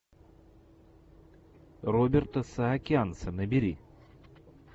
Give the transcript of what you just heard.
роберта саакянца набери